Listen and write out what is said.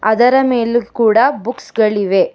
ಅದರ ಮೇಲ್ ಕೂಡ ಬುಕ್ಸ್ ಗಳಿವೆ.